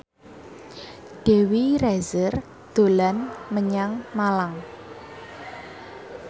Dewi Rezer dolan menyang Malang